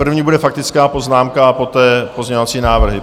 První bude faktická poznámka a poté pozměňovací návrhy.